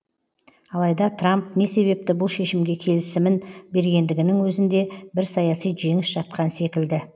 алайда трамп не себепті бұл шешімге келісімін бергендігінің өзінде бір саяси жеңіс жатқан секілді